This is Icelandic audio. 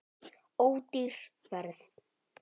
Ódýr ferð.